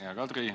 Hea Kadri!